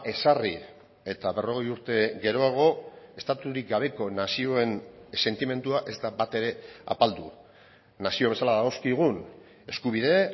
ezarri eta berrogei urte geroago estaturik gabeko nazioen sentimendua ez da batere apaldu nazio bezala dagozkigun eskubide